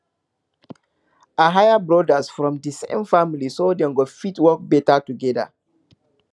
i hire brothers from di same family so dem go fit work better together